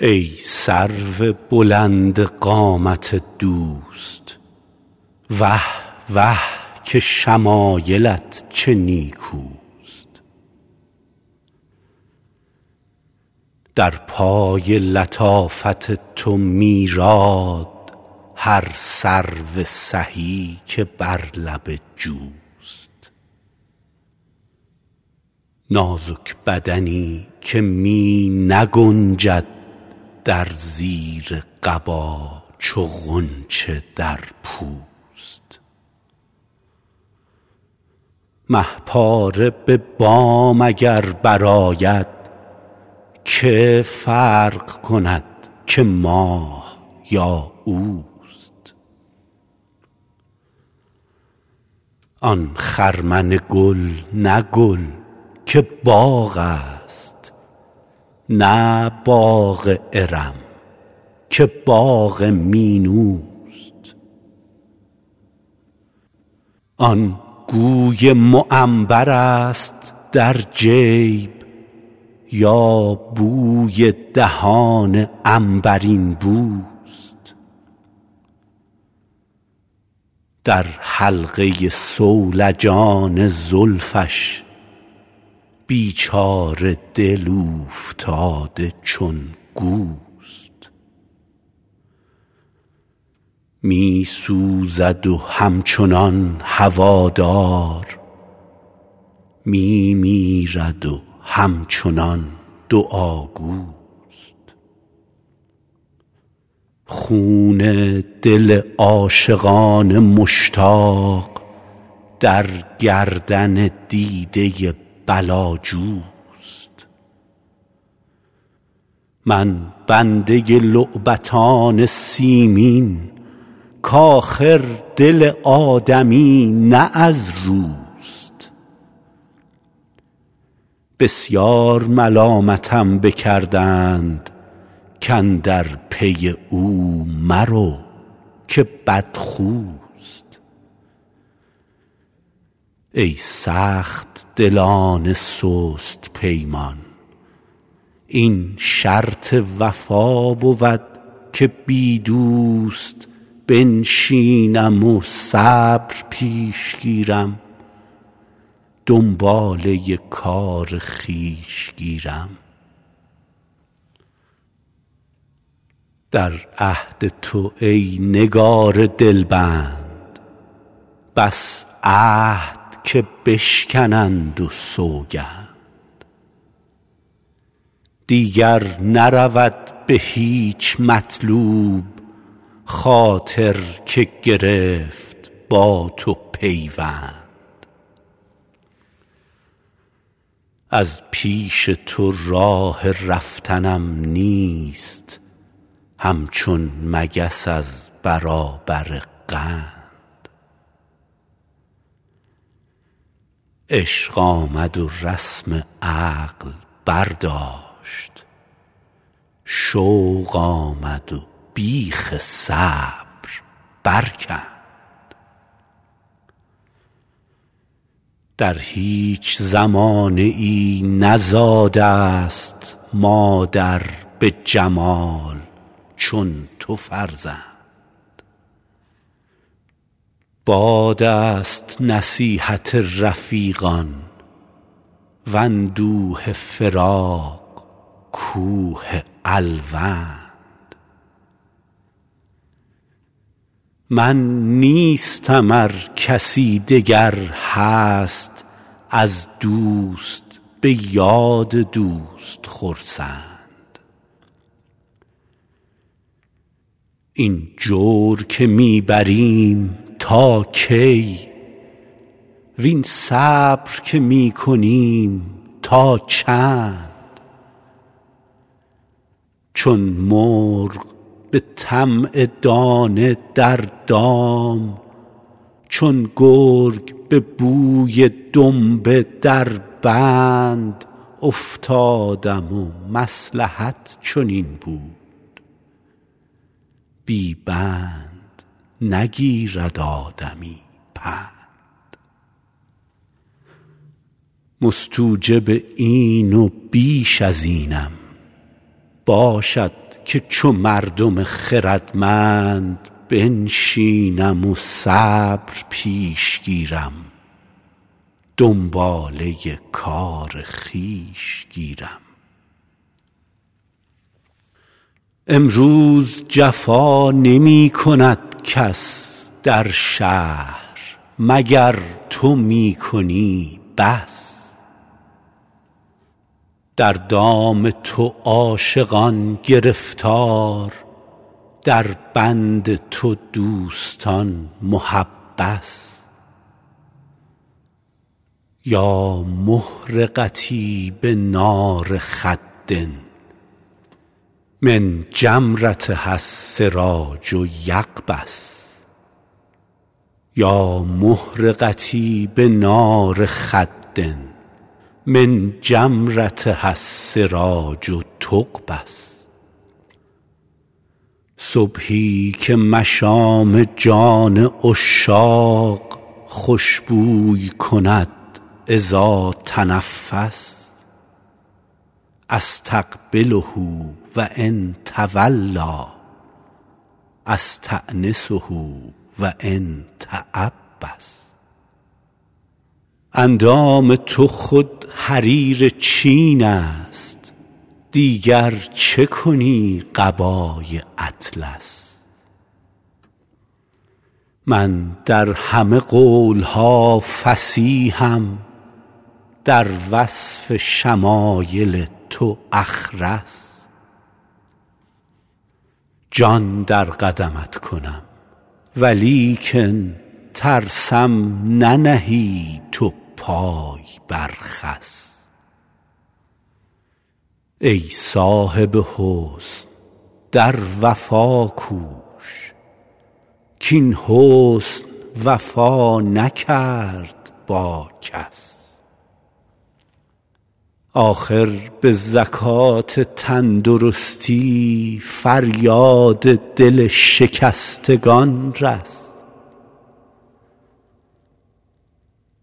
ای سرو بلند قامت دوست وه وه که شمایلت چه نیکوست در پای لطافت تو میراد هر سرو سهی که بر لب جوست نازک بدنی که می نگنجد در زیر قبا چو غنچه در پوست مه پاره به بام اگر برآید که فرق کند که ماه یا اوست آن خرمن گل نه گل که باغ است نه باغ ارم که باغ مینوست آن گوی معنبرست در جیب یا بوی دهان عنبرین بوست در حلقه صولجان زلفش بیچاره دل اوفتاده چون گوست می سوزد و همچنان هوادار می میرد و همچنان دعاگوست خون دل عاشقان مشتاق در گردن دیده بلاجوست من بنده لعبتان سیمین کآخر دل آدمی نه از روست بسیار ملامتم بکردند کاندر پی او مرو که بدخوست ای سخت دلان سست پیمان این شرط وفا بود که بی دوست بنشینم و صبر پیش گیرم دنباله کار خویش گیرم در عهد تو ای نگار دلبند بس عهد که بشکنند و سوگند دیگر نرود به هیچ مطلوب خاطر که گرفت با تو پیوند از پیش تو راه رفتنم نیست همچون مگس از برابر قند عشق آمد و رسم عقل برداشت شوق آمد و بیخ صبر برکند در هیچ زمانه ای نزاده ست مادر به جمال چون تو فرزند باد است نصیحت رفیقان واندوه فراق کوه الوند من نیستم ار کسی دگر هست از دوست به یاد دوست خرسند این جور که می بریم تا کی وین صبر که می کنیم تا چند چون مرغ به طمع دانه در دام چون گرگ به بوی دنبه در بند افتادم و مصلحت چنین بود بی بند نگیرد آدمی پند مستوجب این و بیش از اینم باشد که چو مردم خردمند بنشینم و صبر پیش گیرم دنباله کار خویش گیرم امروز جفا نمی کند کس در شهر مگر تو می کنی بس در دام تو عاشقان گرفتار در بند تو دوستان محبس یا محرقتي بنار خد من جمرتها السراج تقبس صبحی که مشام جان عشاق خوش بوی کند إذا تنفس أستقبله و إن تولیٰ أستأنسه و إن تعبس اندام تو خود حریر چین است دیگر چه کنی قبای اطلس من در همه قول ها فصیحم در وصف شمایل تو أخرس جان در قدمت کنم ولیکن ترسم ننهی تو پای بر خس ای صاحب حسن در وفا کوش کاین حسن وفا نکرد با کس آخر به زکات تندرستی فریاد دل شکستگان رس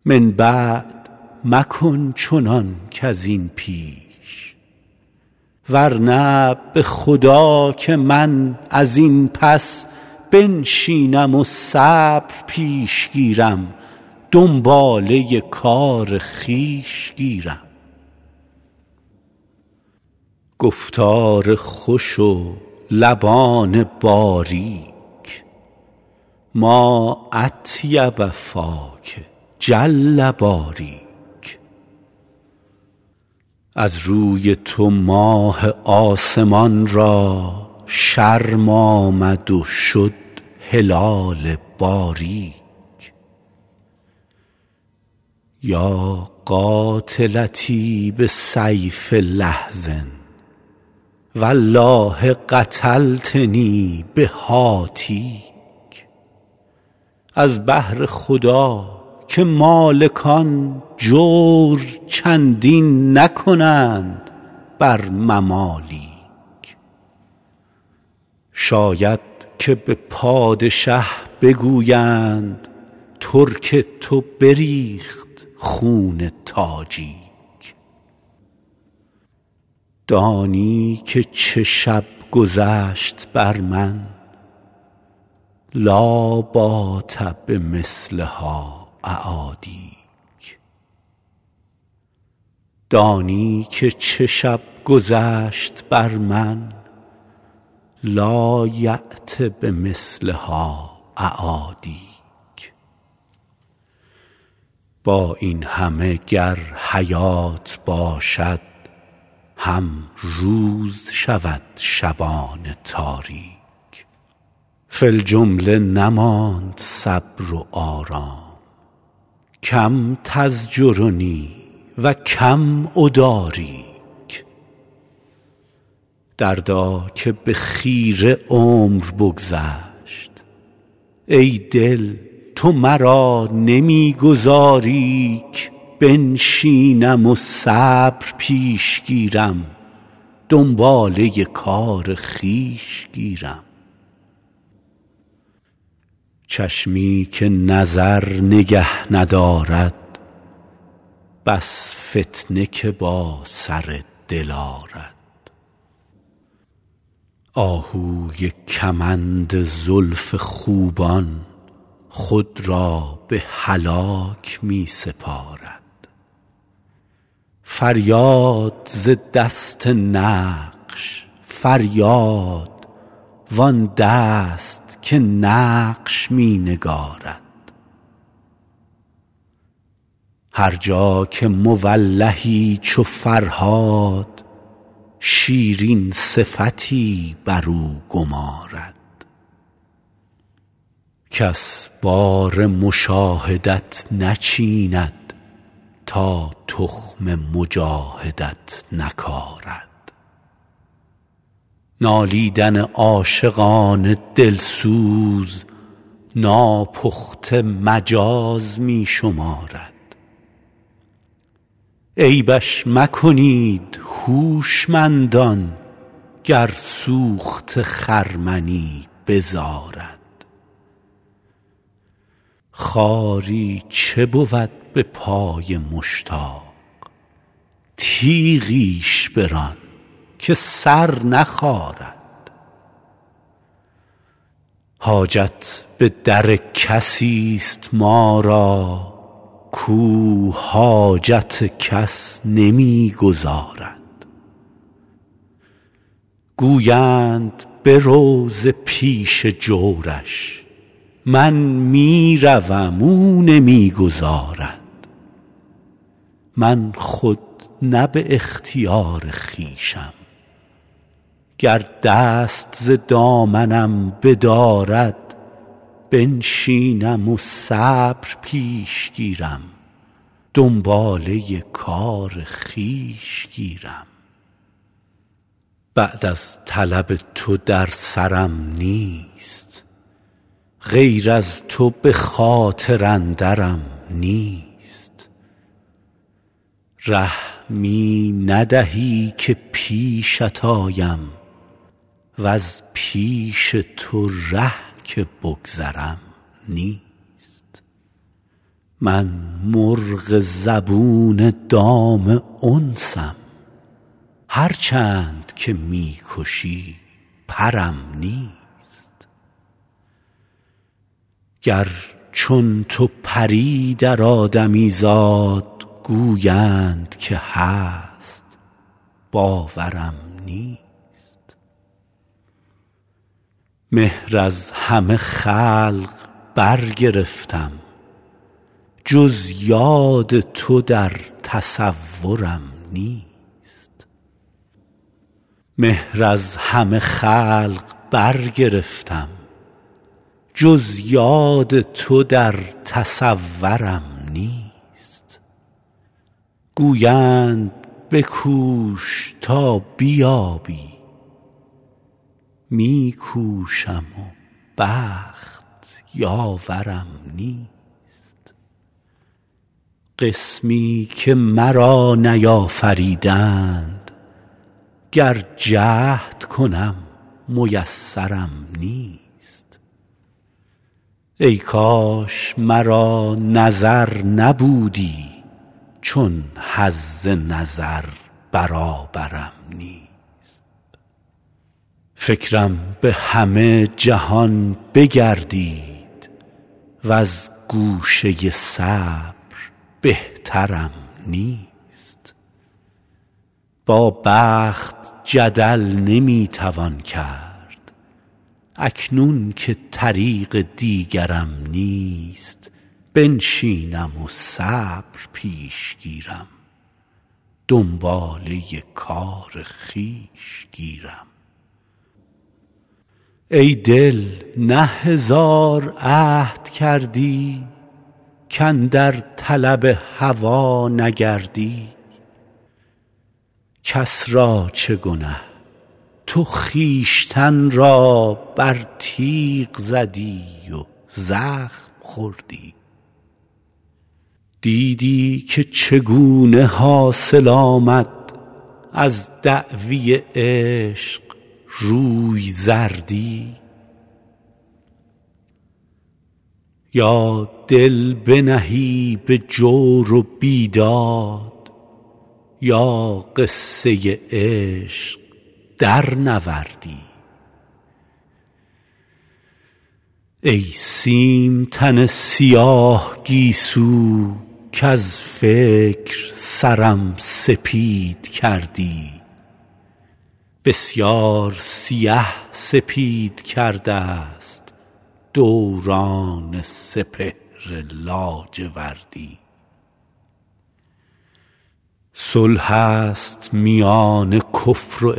من بعد مکن چنان کز این پیش ورنه به خدا که من از این پس بنشینم و صبر پیش گیرم دنباله کار خویش گیرم گفتار خوش و لبان باریک ما أطیب فاک جل باریک از روی تو ماه آسمان را شرم آمد و شد هلال باریک یا قاتلتی بسیف لحظ والله قتلتنی بهاتیک از بهر خدا که مالکان جور چندین نکنند بر ممالیک شاید که به پادشه بگویند ترک تو بریخت خون تاجیک دانی که چه شب گذشت بر من لایأت بمثلها أعادیک با این همه گر حیات باشد هم روز شود شبان تاریک فی الجمله نماند صبر و آرام کم تزجرنی و کم أداریک دردا که به خیره عمر بگذشت ای دل تو مرا نمی گذاری ک بنشینم و صبر پیش گیرم دنباله کار خویش گیرم چشمی که نظر نگه ندارد بس فتنه که با سر دل آرد آهوی کمند زلف خوبان خود را به هلاک می سپارد فریاد ز دست نقش فریاد وآن دست که نقش می نگارد هر جا که مولهی چو فرهاد شیرین صفتی برو گمارد کس بار مشاهدت نچیند تا تخم مجاهدت نکارد نالیدن عاشقان دل سوز ناپخته مجاز می شمارد عیبش مکنید هوشمندان گر سوخته خرمنی بزارد خاری چه بود به پای مشتاق تیغیش بران که سر نخارد حاجت به در کسی ست ما را کاو حاجت کس نمی گزارد گویند برو ز پیش جورش من می روم او نمی گذارد من خود نه به اختیار خویشم گر دست ز دامنم بدارد بنشینم و صبر پیش گیرم دنباله کار خویش گیرم بعد از طلب تو در سرم نیست غیر از تو به خاطر اندرم نیست ره می ندهی که پیشت آیم وز پیش تو ره که بگذرم نیست من مرغ زبون دام انسم هر چند که می کشی پرم نیست گر چون تو پری در آدمیزاد گویند که هست باورم نیست مهر از همه خلق برگرفتم جز یاد تو در تصورم نیست گویند بکوش تا بیابی می کوشم و بخت یاورم نیست قسمی که مرا نیافریدند گر جهد کنم میسرم نیست ای کاش مرا نظر نبودی چون حظ نظر برابرم نیست فکرم به همه جهان بگردید وز گوشه صبر بهترم نیست با بخت جدل نمی توان کرد اکنون که طریق دیگرم نیست بنشینم و صبر پیش گیرم دنباله کار خویش گیرم ای دل نه هزار عهد کردی کاندر طلب هوا نگردی کس را چه گنه تو خویشتن را بر تیغ زدی و زخم خوردی دیدی که چگونه حاصل آمد از دعوی عشق روی زردی یا دل بنهی به جور و بیداد یا قصه عشق درنوردی ای سیم تن سیاه گیسو کز فکر سرم سپید کردی بسیار سیه سپید کرده ست دوران سپهر لاجوردی صلح است میان کفر و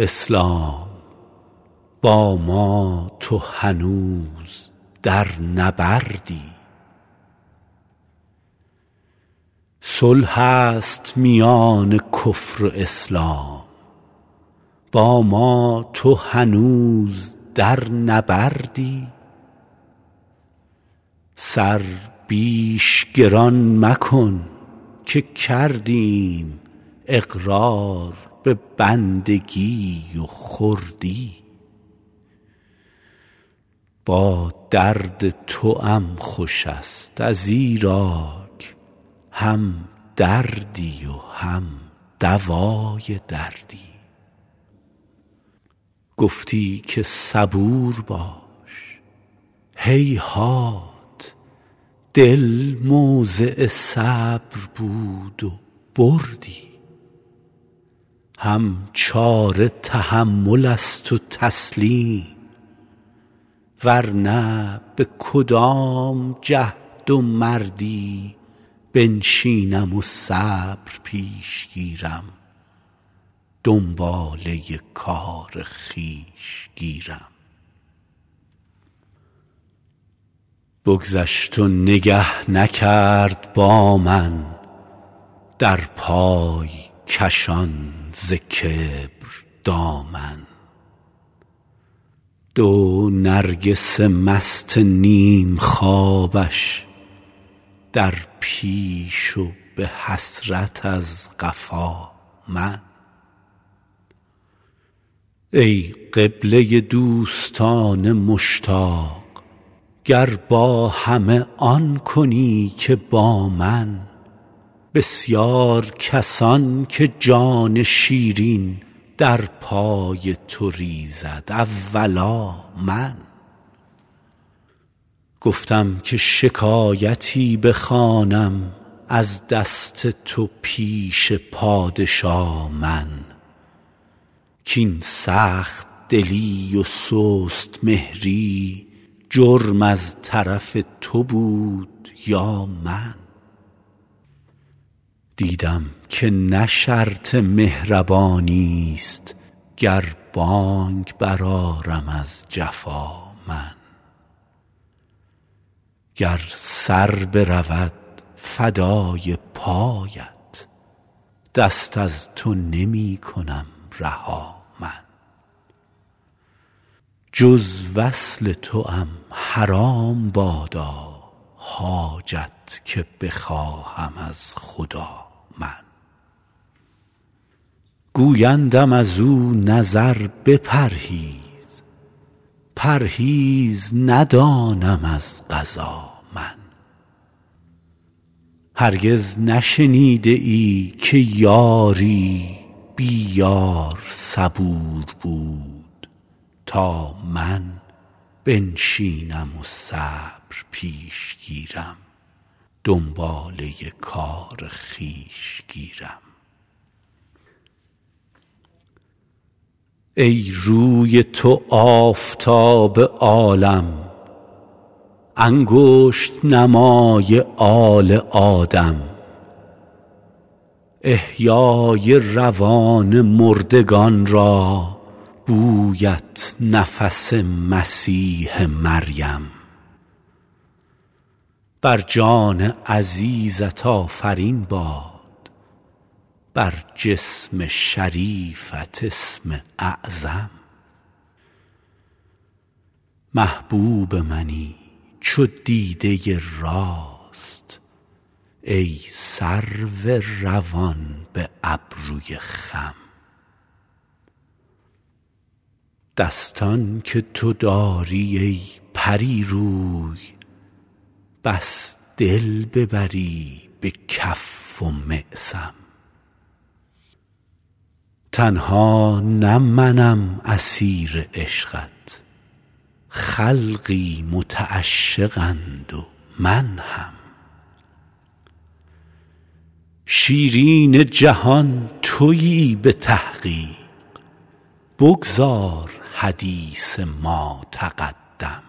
اسلام با ما تو هنوز در نبردی سر بیش گران مکن که کردیم اقرار به بندگی و خردی با درد توام خوش ست ازیراک هم دردی و هم دوای دردی گفتی که صبور باش هیهات دل موضع صبر بود و بردی هم چاره تحمل است و تسلیم ورنه به کدام جهد و مردی بنشینم و صبر پیش گیرم دنباله کار خویش گیرم بگذشت و نگه نکرد با من در پای کشان ز کبر دامن دو نرگس مست نیم خوابش در پیش و به حسرت از قفا من ای قبله دوستان مشتاق گر با همه آن کنی که با من بسیار کسان که جان شیرین در پای تو ریزد اولا من گفتم که شکایتی بخوانم از دست تو پیش پادشا من کاین سخت دلی و سست مهری جرم از طرف تو بود یا من دیدم که نه شرط مهربانی ست گر بانگ برآرم از جفا من گر سر برود فدای پایت دست از تو نمی کنم رها من جز وصل توام حرام بادا حاجت که بخواهم از خدا من گویندم ازو نظر بپرهیز پرهیز ندانم از قضا من هرگز نشنیده ای که یاری بی یار صبور بود تا من بنشینم و صبر پیش گیرم دنباله کار خویش گیرم ای روی تو آفتاب عالم انگشت نمای آل آدم احیای روان مردگان را بویت نفس مسیح مریم بر جان عزیزت آفرین باد بر جسم شریفت اسم اعظم محبوب منی چو دیده راست ای سرو روان به ابروی خم دستان که تو داری ای پری روی بس دل ببری به کف و معصم تنها نه منم اسیر عشقت خلقی متعشقند و من هم شیرین جهان تویی به تحقیق بگذار حدیث ما تقدم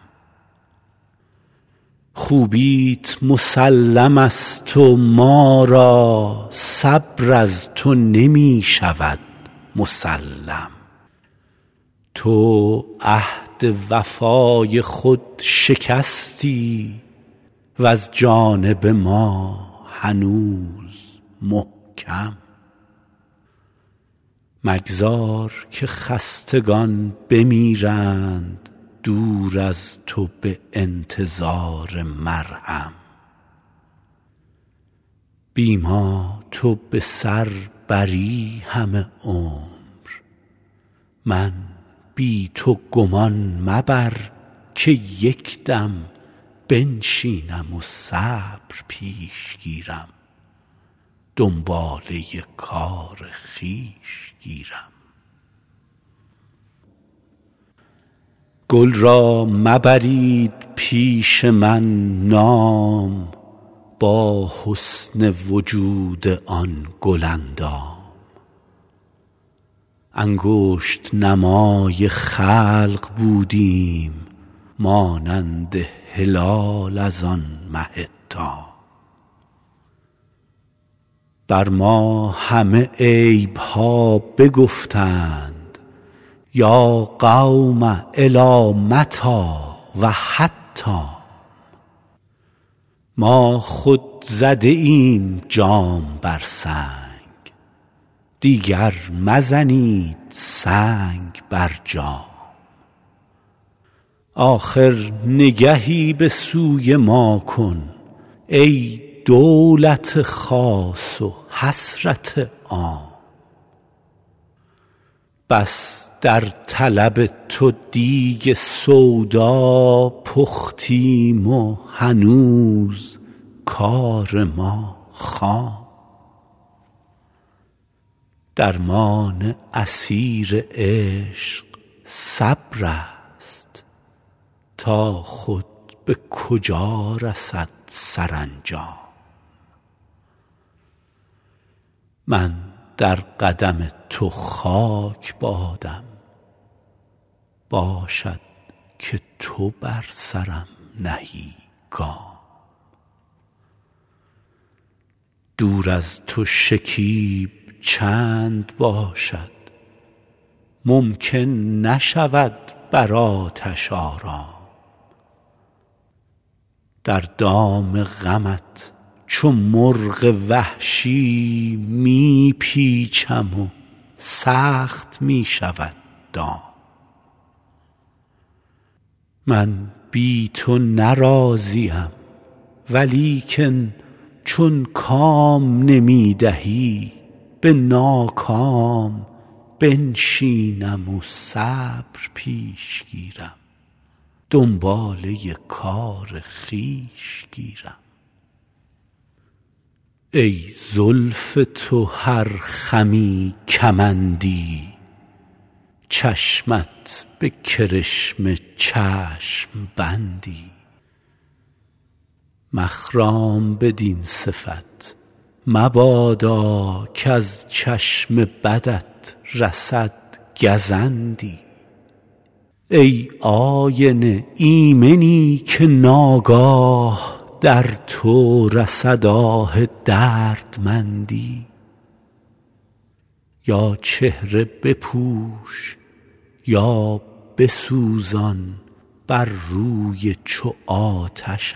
خوبیت مسلم ست و ما را صبر از تو نمی شود مسلم تو عهد وفای خود شکستی وز جانب ما هنوز محکم مگذار که خستگان بمیرند دور از تو به انتظار مرهم بی ما تو به سر بری همه عمر من بی تو گمان مبر که یک دم بنشینم و صبر پیش گیرم دنباله کار خویش گیرم گل را مبرید پیش من نام با حسن وجود آن گل اندام انگشت نمای خلق بودیم مانند هلال از آن مه تام بر ما همه عیب ها بگفتند یا قوم إلی متیٰ و حتام ما خود زده ایم جام بر سنگ دیگر مزنید سنگ بر جام آخر نگهی به سوی ما کن ای دولت خاص و حسرت عام بس در طلب تو دیگ سودا پختیم و هنوز کار ما خام درمان اسیر عشق صبرست تا خود به کجا رسد سرانجام من در قدم تو خاک بادم باشد که تو بر سرم نهی گام دور از تو شکیب چند باشد ممکن نشود بر آتش آرام در دام غمت چو مرغ وحشی می پیچم و سخت می شود دام من بی تو نه راضیم ولیکن چون کام نمی دهی به ناکام بنشینم و صبر پیش گیرم دنباله کار خویش گیرم ای زلف تو هر خمی کمندی چشمت به کرشمه چشم بندی مخرام بدین صفت مبادا کز چشم بدت رسد گزندی ای آینه ایمنی که ناگاه در تو رسد آه دردمندی یا چهره بپوش یا بسوزان بر روی چو آتشت